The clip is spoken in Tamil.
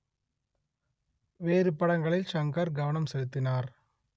வேறு படங்களில் ஷங்கர் கவனம் செலுத்தினார்